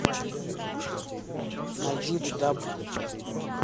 найди даб